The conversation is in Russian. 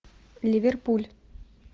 ливерпуль